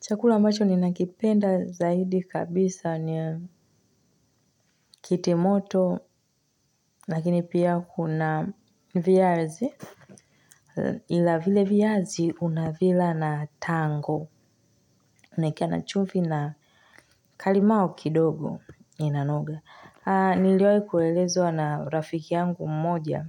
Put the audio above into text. Chakula ambacho ninakipenda zaidi kabisa ni ya kiti moto lakini pia kuna viazi ila vile viymazi unavila na tango. Naekea na chumvi na ka limau kidogo inanoga. Niliwai kuelezwa na rafiki yangu mmoja